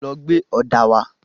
Lọ gbé ọ̀dà wá.